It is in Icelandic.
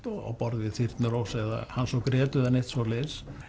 á borð við Þyrnirós eða Hans og Grétu eða neitt svoleiðis